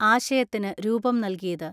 ആശയത്തിന് രൂപം നൽകിയത്.